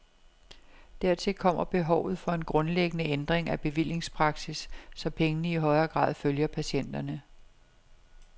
Dertil kommer behovet for en grundlæggende ændring af bevillingspraksis, så pengene i højere grad følger patienterne.